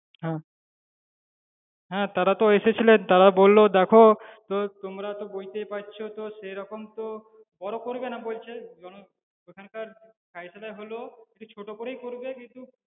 হ্যাঁ হ্যাঁ তারা তো এসেছিলেন তারা বললো দেখো তো তোমরা তো বুঝতেই পারছো তো সেরকম তো বড় করবে না বলছে জন~ ওখানকার criteria হলো একটু ছোট্ট করেই করবে কিন্তু